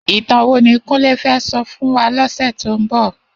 Itàn wó ni Kunle fè sò fún wá lòsè tó n bò?